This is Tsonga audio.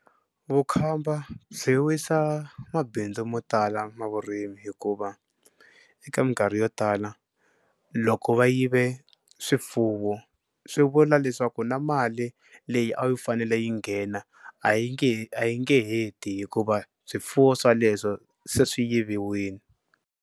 Vukhamba byi wisa mabindzu mo tala ma vurimi hikuva eka mikarhi yo tala loko va yive swifuwo swi vula leswaku na mali leyi a yi fanele yi nghena a yi nge he a yi nge he ti hikuva swifuwo swaleswo se swi yiviwini.